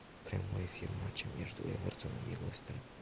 прямой эфир матча между эвертоном и лестером